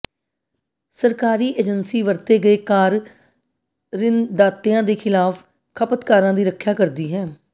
ਸਰਕਾਰੀ ਏਜੰਸੀ ਵਰਤੇ ਗਏ ਕਾਰ ਰਿਣਦਾਤਿਆਂ ਦੇ ਖਿਲਾਫ ਖਪਤਕਾਰਾਂ ਦੀ ਰੱਖਿਆ ਕਰਦੀ ਹੈ